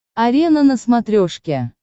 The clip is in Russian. арена на смотрешке